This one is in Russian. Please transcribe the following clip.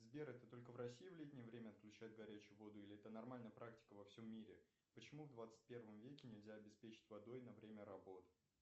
сбер это только в россии в летнее время отключают горячую воду или это нормальная практика во всем мире почему в двадцать первом веке нельзя обеспечить водой на время работ